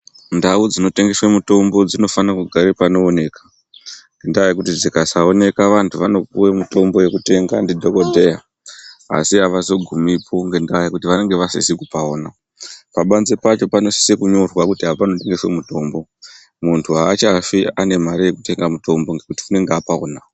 Ndau dzinotendeswe mitombo dzinofana kugara panooneka Ngendaa yekuti dzikasaoneka vantu vanopuve mitombo yekutenga ndidhogodheya. Asi havazogumipo ngendaa yekuti vanenge vasisi kupaona. Pabanze pacho panosise kunyorwa kuti apa panotengeswe mutombo muntu haachafi ane mare yekutenga mutombo ngekuti unenge apaona.